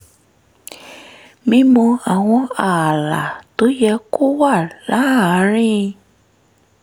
mímọ àwọn ààlà tó yẹ kó wà láàárín